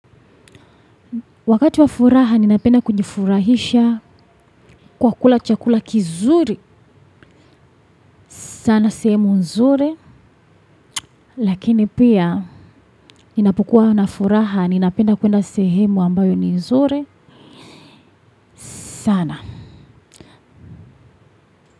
Wakati wa furaha ninapenda kujifurahisha kwa kula chakula kizuri sana sehemu nzuri lakini pia ninapokua na furaha ninapenda kuenda sehemu ambayo ni nzuri sana.